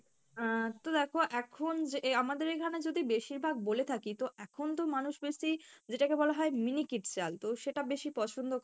আহ তো দেখো এখন যে আহ আমাদের এখানে যদি বেশিরভাগ বলে থাকি তো এখন তো মানুষ বেশি যেটাকে বলা হয় miniket চাল তো সেটা বেশি পছন্দ